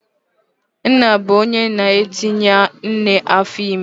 Nna bụ onye na-etinye nne afọime